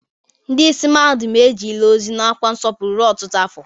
Ndị ìsì mahadum ejele ozi n'ọkwa nsọpụrụ ruo ọtụtụ afọ.